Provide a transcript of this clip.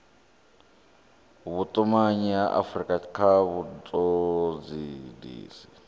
vhutumanyi ha afurika kha vhutodisisi